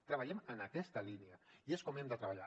treballem en aquesta línia i és com hem de treballar